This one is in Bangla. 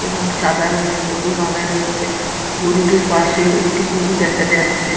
এবং সাদা রঙের দড়ি বাঁধা রয়েছে গরুটির পাশেও একটি গরু দেখা যাচ্ছে।